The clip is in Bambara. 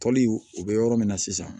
Toli o bɛ yɔrɔ min na sisan